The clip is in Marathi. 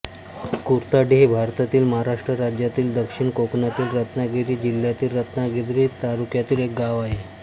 कुर्ताडे हे भारतातील महाराष्ट्र राज्यातील दक्षिण कोकणातील रत्नागिरी जिल्ह्यातील रत्नागिरी तालुक्यातील एक गाव आहे